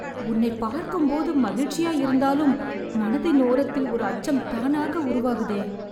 உன்னைப் பார்க்கும்போது மகிழ்ச்சியா இருந்தாலும் மனதின் ஓரத்தில் ஒரு அச்சம் தானாக உருவாகுதே...